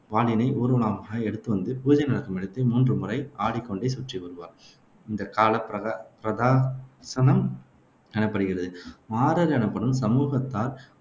வாளினை ஊர்வலமாக எடுத்து வந்து, பூஜை நடக்கும் இடத்தை மூன்றுமுறை ஆடிக்கொண்டே சுற்றி வருவார். இந்த கால எனப்படுகிறது. மாறர் எனப்படும் சமூகத்தார்